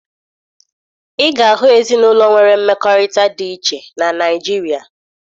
Ị ga-ahụ ezinụlọ nwere mmekọrịta dị iche na Naịjirịa